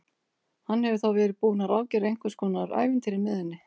Hann hefur þá verið búinn að ráðgera einhvers konar ævintýri með henni!